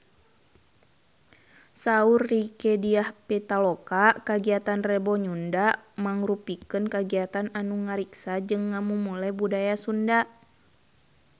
Saur Rieke Diah Pitaloka kagiatan Rebo Nyunda mangrupikeun kagiatan anu ngariksa jeung ngamumule budaya Sunda